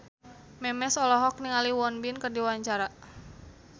Memes olohok ningali Won Bin keur diwawancara